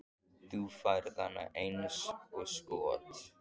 Þú færð hana eins og skot.